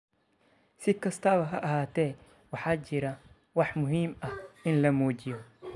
Si kastaba ha ahaatee, waxaa jira wax muhiim ah in la muujiyo.